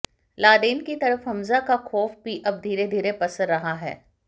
Laden की तरह Hamza का खौफ भी अब धीरे धीरे पसर रहा है